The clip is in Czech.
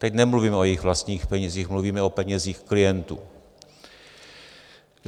Teď nemluvím o jejich vlastních penězích, mluvíme o penězích klientů.